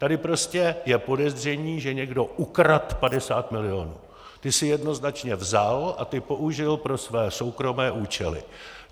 Tady prostě je podezření, že někdo ukradl 50 milionů, ty si jednoznačně vzal a ty použil pro své soukromé účely.